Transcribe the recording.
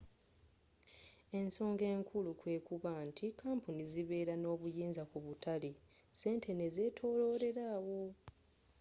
ensoga enkulu kwekuba nti kampuni zibera n'obuyinza ku butale sente nezzetololera awo